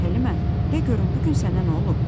Həlimə, de görüm bu gün sənə nə olub?